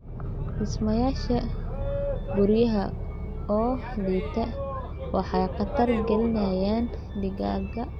Dhismayaasha guryaha oo liita waxay khatar gelinayaan digaagga.